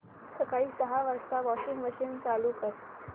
सकाळी सहा वाजता वॉशिंग मशीन चालू कर